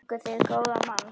Þar fenguð þið góðan mann.